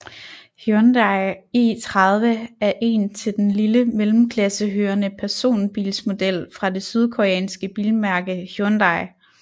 Hyundai i30 er en til den lille mellemklasse hørende personbilsmodel fra det sydkoreanske bilmærke Hyundai